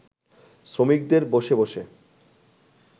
শ্রমিকদের বসে বসে